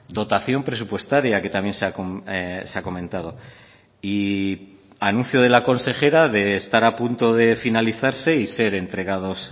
dotación presupuestaria que también se ha comentado y anuncio de la consejera de estar a punto de finalizarse y ser entregados